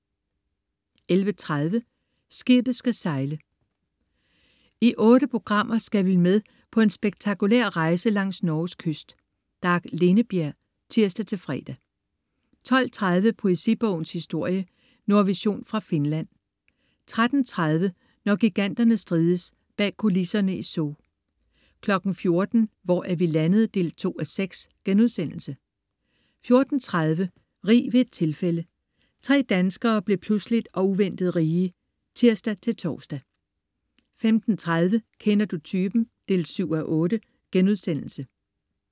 11.30 Skibet skal sejle. I otte programmer skal vi med den en spektakulær rejse langs Norges kyst. Dag Lindebjerg (tirs-fre) 12.30 Poesibogens historie. Nordvision fra Finland 13.30 Når giganterne strides. Bag kulisserne i Zoo 14.00 Hvor er vi landet? 2:6* 14.30 Rig ved et tilfælde. Tre danskere blev pludseligt og uventet rige (tirs-tors) 15.30 Kender du typen? 7:8*